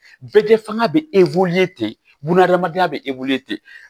Bɛɛ kɛ fanga bɛ ten bunahadamadenya bɛ